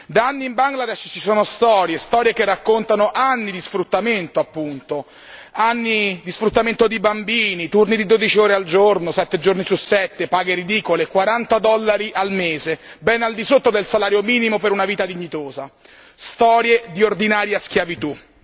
Da anni in Bangladesh ci sono storie, storie che raccontano anni di sfruttamento appunto, anni di sfruttamento di bambini, turni di 12 ore al giorno, 7 giorni su 7, paghe ridicole, 40 dollari al mese, ben al di sotto del salario minimo per una vita dignitosa, storie di ordinaria schiavitù.